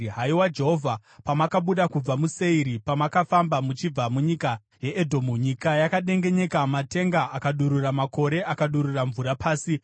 “Haiwa Jehovha, pamakabuda kubva muSeiri, pamakafamba muchibva munyika yeEdhomu, Nyika yakadengenyeka, matenga akadurura, makore akadurura mvura pasi.